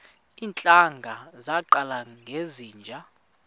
iintlanga zaqala ngezinje